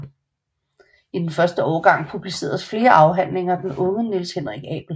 I den første årgang publiceredes flere afhandlinger af den unge Niels Henrik Abel